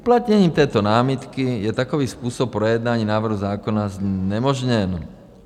Uplatněním této námitky je takový způsob projednání návrhu zákona znemožněn.